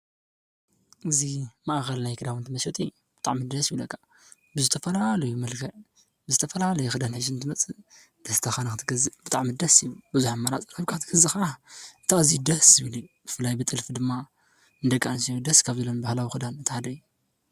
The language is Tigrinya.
እዙይ ማኣኸል ናይ ክዳውትን ትመሸጡ ብጣዕሚ ደስ ይብለካ፡፡ ብዝተፈላለየ መልከዕ ብዝተፈላለ ኽዳን ሒዙ እንትመጽእ ደስታኻ ንኽትገዝእ ብጥዕሚ ደስ ይብል፡፡ በዙሕ ኣማራፂ ረኺብካ ክትገዝአ ኸዓ እቲ እዙዩ ደስ ዝብለ እዩ፡፡ ብፍላይ ብጥልፊ ድማ ንደቂ ኣንስትዮ ደስ ካብ ዝብለን በህላዊ ኽዳን እቲ ሓደ አዩ፡፡